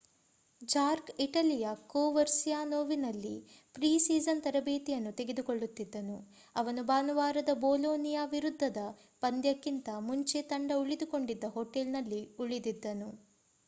ಜಾರ್ಕ್ ಇಟಲಿಯ ಕೋವರ್ಸಿಯಾನೋವಿನಲ್ಲಿ preseason ತರಬೇತಿ ಯನ್ನು ತೆಗೆದುಕೊಳ್ಳುತ್ತಿದ್ದನು ಅವನು ಭಾನುವಾರದ ಬೋಲೋ ನಿಯಾ ವಿರುದ್ಧದ ಪಂದ್ಯಕ್ಕಿಂತ ಮುಂಚೆ ತಂಡ ಉಳಿದುಕೊಂಡಿದ್ದ ಹೊಟೇಲ್ನಲ್ಲಿ ಉಳಿದಿದ್ದನು